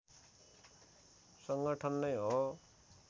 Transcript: संगठन नै हो